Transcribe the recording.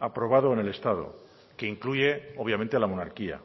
aprobado en el estado que incluye obviamente la monarquía